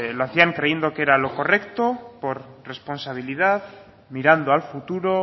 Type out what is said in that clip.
lo hacían creyendo que era lo correcto por responsabilidad mirando al futuro